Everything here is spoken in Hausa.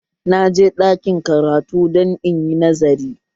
Na je ɗakin karatu don inyi nazari